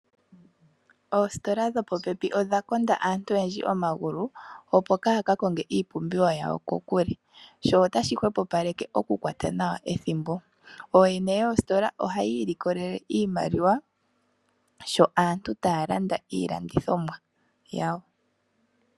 Oositola dhopopepi odha konda aantu oyendji omagulu, opo kaaya ka konge iipumbiwa yawo kokule. Sho otashi hwepopaleke okukwata nawa ethimbo. Ooyene yoositola oha yi likolele iimaliwa, sho aantu taa landa iilandithomwa yawo.